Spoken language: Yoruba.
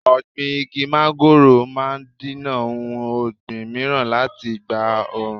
Ọ̀gbìn igi mángóròò máa dènà ohun ọ̀gbìn mìíràn láti gba oòrùn.